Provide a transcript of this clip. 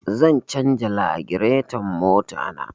Zan canja lagireton mota na